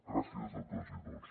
gràcies a totes i tots